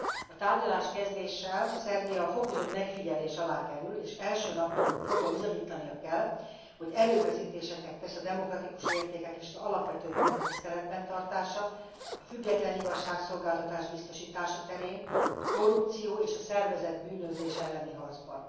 A tárgyaláskezdéssel Szerbia fokozott megfigyelés alá kerül, és első naptól fogva bizonyítania kell, hogy erőfeszítéseket tesz a demokratikus értékek és az alapvető jogok tiszteletben tartása, a független igazságszolgáltatás biztosítása terén, a korrupció és a szervezett bűnözés elleni harcban.